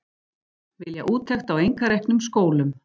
Vilja úttekt á einkareknum skólum